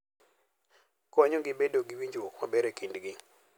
Konyogi bedo gi winjruok maber e kindgi.